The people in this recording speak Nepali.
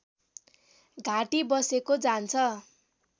घाँटी बसेको जान्छ